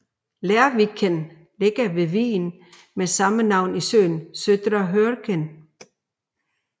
Lerviken ligger ved vigen med samme navn i søen Södra Hörken